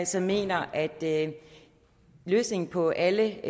som mener at løsningen på alle